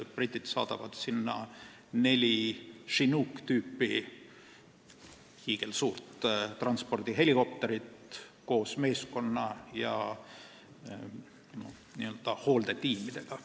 Britid saadavad sinna neli hiigelsuurt Chinooki tüüpi transpordihelikopterit koos meeskonna ja hooldetiimidega.